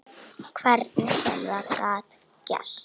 Hvernig sem það gat gerst.